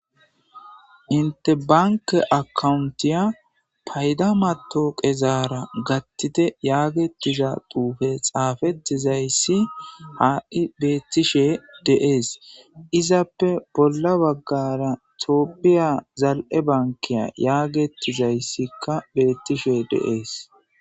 Inte bankeza payida digital matawaqara gaththite giza xufey ha"i beettishshe de"es izappekka bolla baggara tophphiya zali"e bankke giza xufey de"es